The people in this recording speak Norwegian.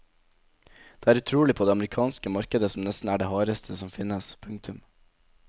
Det er utrolig på det amerikanske markedet som nesten er det hardeste som finnes. punktum